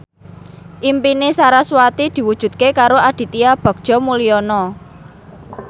impine sarasvati diwujudke karo Aditya Bagja Mulyana